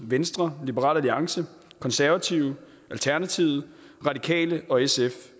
venstre liberal alliance konservative alternativet radikale og sf